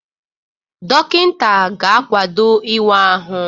Dọkịta ga-akwado ịwa ahụ.